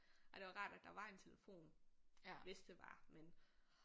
Ej det var rart at der var en telefon hvis det var men